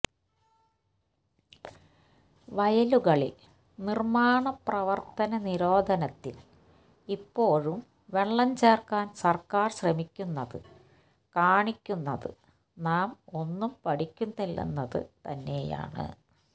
വയലുകളിൽ നിർമാണ പ്രവർത്തന നിരോധനത്തിൽ ഇപ്പോഴും വെള്ളം ചേർക്കാൻ സർക്കാർ ശ്രമിക്കുന്നത് കാണിക്കുന്നത് നാം ഒന്നും പഠിക്കുന്നില്ലെന്നത് തന്നെയാണ്